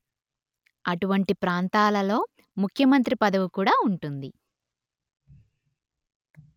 అటువంటి ప్రాంతాలలో ముఖ్యమంత్రి పదవి కూడా వుంటుంది